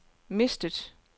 mistet